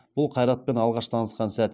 бұл қайратпен алғаш танысқан сәт